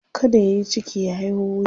kada yayi ciki ya haiho wuya